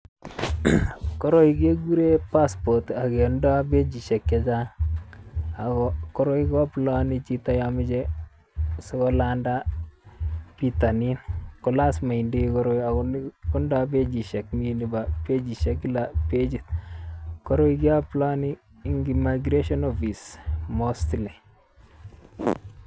Koroi kekure passport ak kealdoi pechisiek chechang ako koroi ko aplaani chito yon meche sikolanda bitonin, ko lazima indoi koroi ako tindoi pechisiek. Mi nebo pechisiek kila pechit, koroi keaplaani eng migration office mostly.